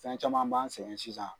Fɛn caman b'an sɛgɛn sisan.